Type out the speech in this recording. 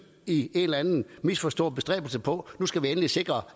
i en eller anden misforstået bestræbelse på at nu skal vi endelig sikre